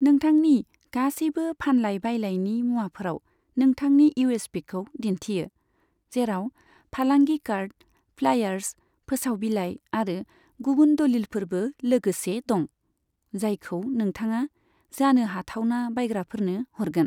नोंथांनि गासैबो फानलाय बायलायनि मुवाफोराव नोंथांनि इउएसपिखौ दिन्थियो, जेराव फालांगि कार्ड, फ्लायार्स, फोसाव बिलाइ, आरो गुबुन दलिलफोरबो लोगोसे दं, जायखो नोंथाङा जानो हाथावना बायग्राफोरनो हरगोन।